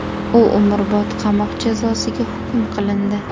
U umrbod qamoq jazosiga hukm qilindi .